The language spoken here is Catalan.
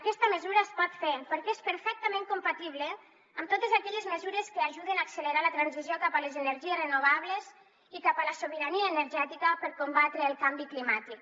aquesta mesura es pot fer perquè és perfectament compatible amb totes aquelles mesures que ajuden a accelerar la transició cap a les energies renovables i cap a la sobirania energètica per combatre el canvi climàtic